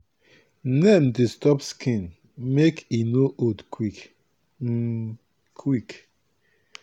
neem dey stop skin make e no old quick um quick